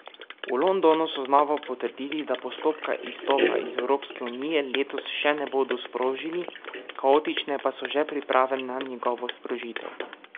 V Londonu so znova potrdili, da postopka izstopa iz Evropske unije letos še ne bodo sprožili, kaotične pa so že priprave na njegovo sprožitev.